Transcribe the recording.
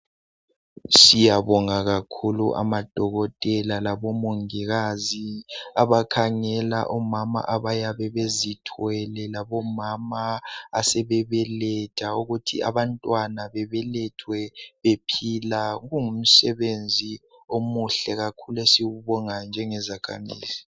Siyabonga kakhulu amadokotela labomongikazi, abakhangela omama abayabe bezithwele labomama asebebeletha ukuthi abantwana bebelethwe bephila. Kungumsebenzi omuhle kakhulu esiwubongayo njengezakhamizi.